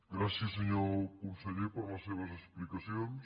gràcies senyor conseller per les seves explicacions